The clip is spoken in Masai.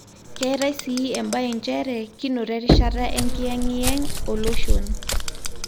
Ketae sii embaye nchere kinoto erishata enkiyengiyeng oloshon.